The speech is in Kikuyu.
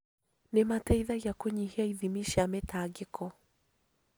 Nĩ mateithagia kũnyihia ithimi cia mĩtangĩko